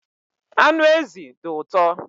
Anụ ezi dị ụtọ